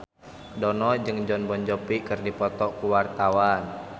Dono jeung Jon Bon Jovi keur dipoto ku wartawan